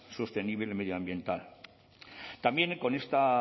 sostenible y medioambiental también con esta